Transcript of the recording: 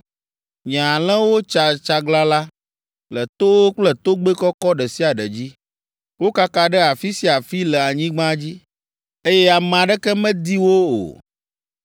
Nye alẽwo tsa tsaglalã le towo kple togbɛ kɔkɔ ɖe sia ɖe dzi. Wokaka ɖe afi sia afi le anyigba dzi, eye ame aɖeke medi wo o.’